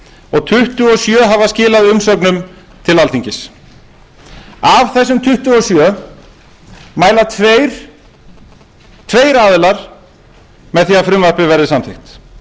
og tuttugu og sjö hafa skilað umsögnum til alþingis af þessum tuttugu og sjö hafa tveir aðilar mælt með að frumvarpið verði samþykkt